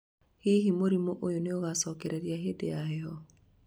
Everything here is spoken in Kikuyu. hihi mũrimũ ũyũ nĩogacokereria hindi ya heho?